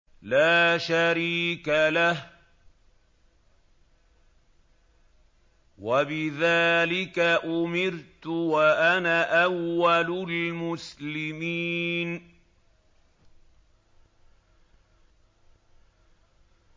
لَا شَرِيكَ لَهُ ۖ وَبِذَٰلِكَ أُمِرْتُ وَأَنَا أَوَّلُ الْمُسْلِمِينَ